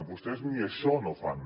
vostès ni això no fan